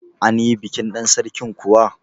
Anyi bikin ɗan Sarkin kuwa?